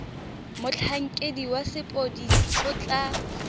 motlhankedi wa sepodisi o tla